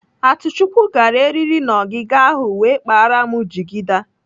Atuchukwu gara eriri n'ọgịga ahụ wee kpara m jigida.